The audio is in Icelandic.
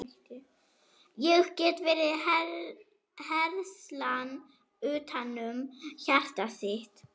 Ég get verið herslan utanum hjartað þitt.